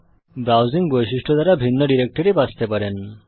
browsing বৈশিষ্ট্য দ্বারা ভিন্ন ডিরেক্টরি বাছতে পারেন